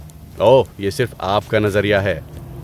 اوہ، یہ صرف آپ کا نظریہ ہے۔